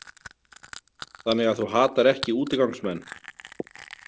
Þannig að þú hatar ekki útigangsmenn?